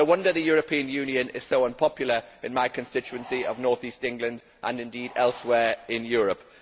No wonder the European Union is so unpopular in my constituency of North East England and elsewhere in Europe.